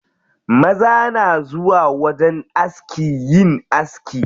Maza na zuwa wajen aski yin aski.